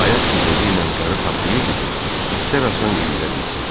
Ayaq gəzəyi ilə qarı taplayırdı ki, itlər asan yüyrə bilsin.